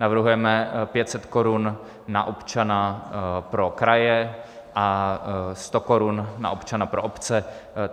Navrhujeme 500 korun na občana pro kraje a 100 korun na občana pro obce.